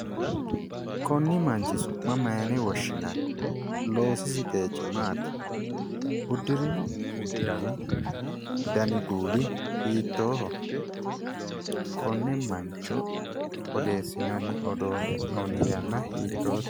Koni manchi su'ma mayene woshshinanni ? Loosisi qeechi maati? Udirino udano dani kuuli hiittoho ? Kone mancho odeessinanni hee'noonni yanna hiittote ?